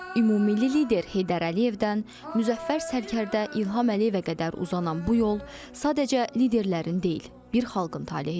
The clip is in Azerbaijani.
Ümummilli lider Heydər Əliyevdən Müzəffər Sərkərdə İlham Əliyevə qədər uzanan bu yol sadəcə liderlərin deyil, bir xalqın talehidir.